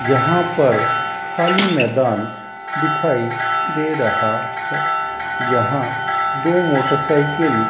यहां पर खाली मैदान दिखाई दे रहा है यहां दो मोटरसाइकिल --